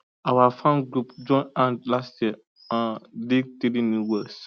our farm group join hand last year um dig three new wells